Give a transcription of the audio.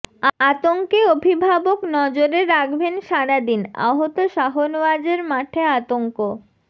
আতঙ্কে অভিভাবক নজরে রাখবেন সারাদিন আহত শাহনওয়াজের মাঠে আতঙ্ক